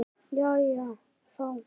Jæja þá.